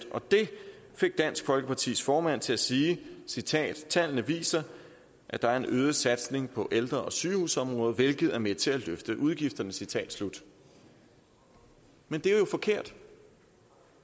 og det fik dansk folkepartis formand til at sige citat tallene viset at der er en øget satsning på ældre og sygehusområdet hvilket er med til at løfte udgifterne citat slut men det er jo forkert